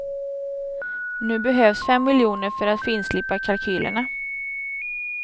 Nu behövs fem miljoner för att finslipa kalkylerna.